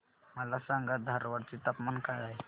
मला सांगा धारवाड चे तापमान काय आहे